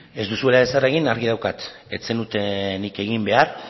ez duzuela ezer egin argi daukat ez zenutenik egin behar